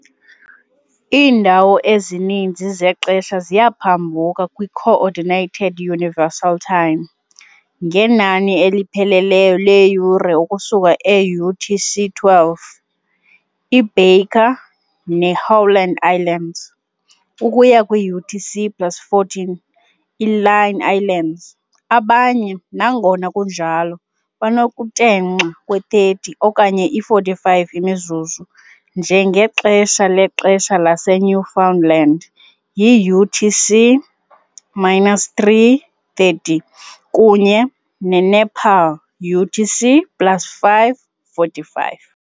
Iindawo ezininzi zexesha ziyaphambuka kwi-Coordinated Universal Time. Ngenani elipheleleyo leeyure ukusuka e-UTC-12. i-Baker ne-Howland Islands, ukuya kwi-UTC plus 14. i-Line Islands, abanye, nangona kunjalo, banokutenxa kwe-30 okanye i-45 imizuzu, njengexesha lexesha laseNewfoundland yi-UTC minus 3-30 kunye ne- Nepal UTC plus 5-45.